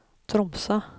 Tromsø